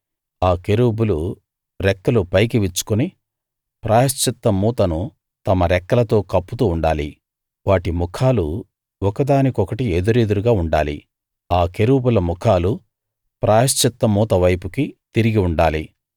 ఆ కెరూబులు రెక్కలు పైకి విచ్చుకుని ప్రాయశ్చిత్త మూతను తమ రెక్కలతో కప్పుతూ ఉండాలి వాటి ముఖాలు ఒకదానికొకటి ఎదురెదురుగా ఉండాలి ఆ కెరూబుల ముఖాలు ప్రాయశ్చిత్త మూత వైపుకి తిరిగి ఉండాలి